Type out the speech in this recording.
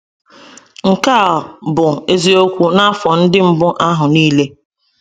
Nke a bụ eziokwu n’afọ ndị mbụ ahụ nile.